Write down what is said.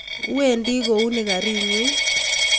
wendi kouni kariinyin